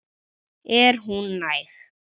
Er hún næg?